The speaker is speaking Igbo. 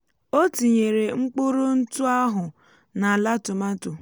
o tinyere mkpụrụ ntụ áhù na àlá tòmátò